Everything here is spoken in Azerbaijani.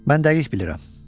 Mən dəqiq bilirəm.